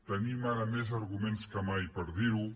tenim ara més arguments que mai per dir ho